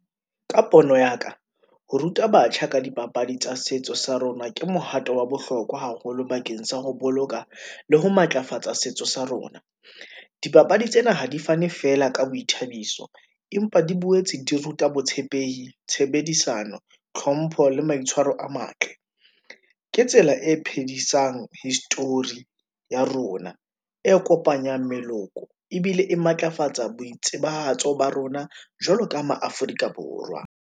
Ka pono ya ka, ho ruta batjha ka dipapadi tsa setso sa rona, ke mohato wa bohlokwa haholo bakeng sa ho boloka le ho matlafatsa setso sa rona . Dipapadi tsena ha di fane fela ka boithabiso, empa di boetse di ruta botshepehi, tshebedisano, tlhompho le maitshwaro a matle . Ke tsela e phedisang history-i ya rona, e kopanyang meloko, ebile e matlafatsa boitsebahatso ba rona, jwalo ka ma Afrika Borwa.